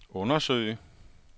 undersøge